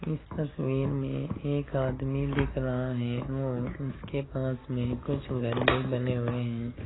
इस तस्वीर में एक आदमी दिख रहा है और उसके पास में कुछ घर बने हुए हैं।